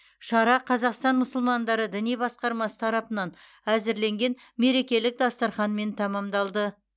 шара қазақстан мұсылмандары діни басқармасы тарапынан әзірленген мерекелік дастарханмен тәмамдалды